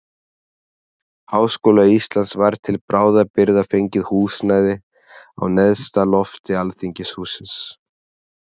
Háskóla Íslands var til bráðabirgða fengið húsnæði á neðsta lofti alþingishússins.